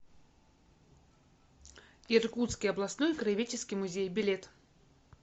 иркутский областной краеведческий музей билет